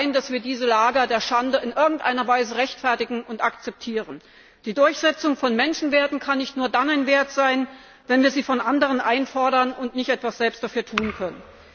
Es kann doch nicht sein, dass wir diese Lager der Schande in irgendeiner Weise rechtfertigen und akzeptieren. Die Durchsetzung von Menschenrechten kann nicht nur dann ein Wert sein, wenn wir sie von anderen einfordern und nicht selbst etwas dafür tun können.